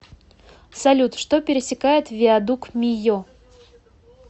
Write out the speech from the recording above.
салют что пересекает виадук мийо